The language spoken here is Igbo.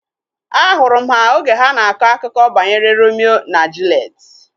Ahụrụ m ha oge ha na-akọ akụkọ banyere Romio na Juliet